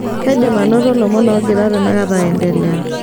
kaidim ainoto lomon ogira tenakata aindelea